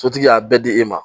Sotigi y'a bɛɛ di e ma